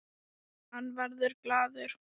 Hann verður glaður.